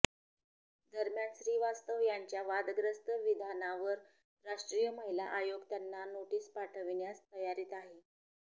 दरम्यान श्रीवास्तव यांच्या वादग्रस्त विधानावर राष्ट्रीय महिला आयोग त्यांना नोटीस पाठविण्यास तयारीत आहे